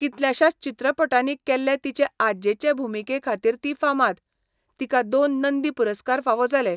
कितल्याशाच चित्रपटांनी केल्ले तिचे आज्जेचे भुमिकेखातीर ती फामाद. तिका दोन नंदी पुरस्कार फावो जाले.